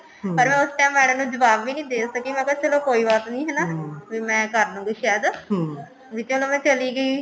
ਪਰ ਉਸ time madam ਨੂੰ ਜਵਾਬ ਵੀ ਨੀ ਦੇ ਸਕੀ ਮੈਂ ਕਿਹਾ ਚੱਲੋ ਕੋਈ ਬਾਤ ਨੀ ਹਨਾ ਵੀ ਮੈਂ ਕਰ ਲੂੰਗੀ ਸ਼ਾਇਦ ਵੀ ਚਲੋ ਮੈਂ ਚਲੀ ਗਈ